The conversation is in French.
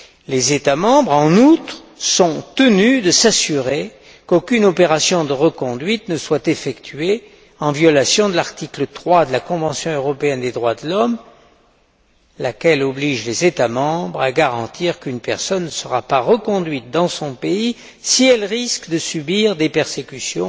Les États membres, en outre, sont tenus de s'assurer qu'aucune opération de reconduite ne soit effectuée en violation de l'article 3 de la convention européenne des droits de l'homme, laquelle oblige les États membres à garantir qu'une personne ne sera pas reconduite dans son pays si elle risque de subir des persécutions